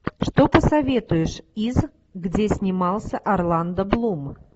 что посоветуешь из где снимался орландо блум